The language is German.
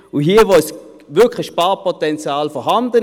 Und hier ist wirklich ein Sparpotenzial vorhanden.